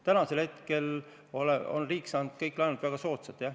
Tänaseks hetkeks on riik saanud kõik laenud väga soodsalt.